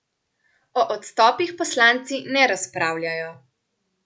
O odstopih poslanci ne razpravljajo.